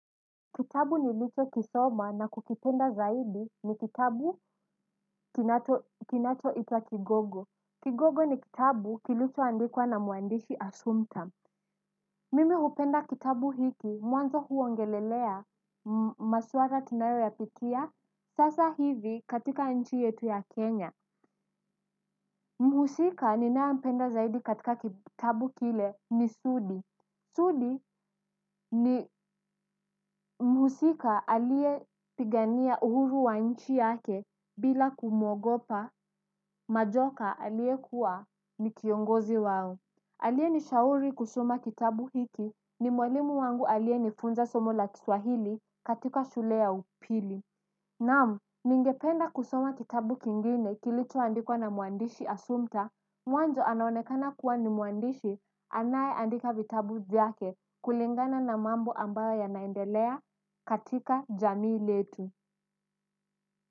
Kitabu nilicho kisoma na kukipenda zaidi ni kitabu kinachoitwa Kigogo. Kigogo ni kitabu kilichoandikwa na mwandishi Asumpta. Mimi hupenda kitabu hiki, mwanzo huongelelea maswala tunayo yapitia. Sasa hivi katika nchi yetu ya Kenya. Mhusika ninaye mpenda zaidi katika kitabu kile ni Sudi. Sudi ni mhusika aliyepigania uhuru wa nchi yake bila kumwogopa, majoka aliyekuwa ni kiongozi wao. Aliyenishauri kusoma kitabu hiki ni mwalimu wangu aliye nifunza somo la kiswahili katika shule ya upili. Nam, ningependa kusoma kitabu kingine kilichoandikwa na mwandishi asumpta, mwanzo anaonekana kuwa ni mwandishi, anayeandika vitabu vyake kulingana na mambo ambayo yanaendelea katika jamii letu.